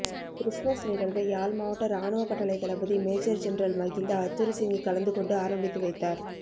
Christmas நிகழ்வை யாழ் மாவட்ட இராணுவ கட்டளைத்தளபதி மேஜர் ஜெனரல் மகிந்த ஹத்துருசிங்க கலந்து கொண்டு ஆரம்பித்து வைத்தார்